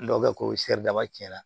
N'o kɛ ko dama tiɲɛna